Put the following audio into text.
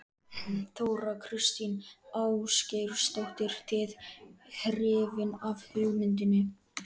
Þóra Kristín Ásgeirsdóttir:. þið hrifin af hugmyndinni?